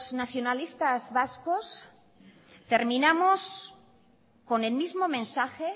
nacionalistas vascos terminamos con el mismo mensaje